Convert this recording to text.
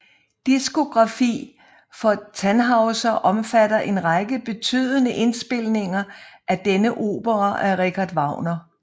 Diskografi for Tannhäuser omfatter en række betydende indspilninger af denne opera af Richard Wagner